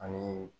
Ani